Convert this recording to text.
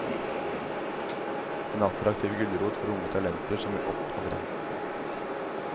En attraktiv gulrot for unge talenter som vil opp og frem.